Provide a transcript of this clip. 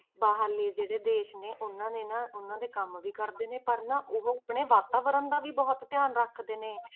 ਬਾਹਰਲੇ ਜਿਹੜੇ ਦੇਸ ਨੇ ਉਹਨਾਂ ਨੇ ਨਾ, ਉਹਨਾਂ ਦੇ ਕੰਮ ਵੀ ਕਰਦੇ ਨੇ, ਪਰ ਨਾ ਉਹ ਆਪਣੇ ਵਾਤਾਵਰਨ ਦਾ ਵੀ ਬਹੁਤ ਧਿਆਨ ਰੱਖਦੇ ਨੇ।